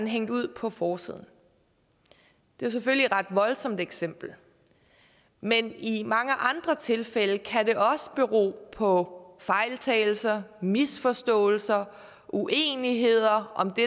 hængt ud på forsiden det er selvfølgelig et ret voldsomt eksempel men i mange andre tilfælde kan det også bero på fejltagelser misforståelser eller uenigheder om det